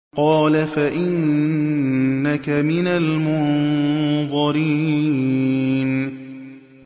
قَالَ فَإِنَّكَ مِنَ الْمُنظَرِينَ